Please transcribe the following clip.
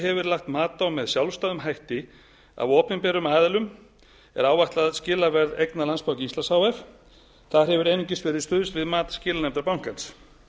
hefur verið lagt mat á með sjálfstæðum hætti af opinberum aðilum er áætlað skilaverð eigna landsbanka íslands h f þar hefur einungis verið stuðst við mat skilanefndar bankans